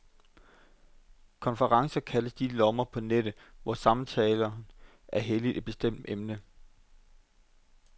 Konferencer kaldes de lommer på nettet, hvor samtalen er helliget et bestemt emne.